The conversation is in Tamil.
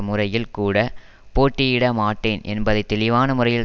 முறையில்கூட போட்டியிடமாட்டேன் என்பதை தெளிவான முறையில்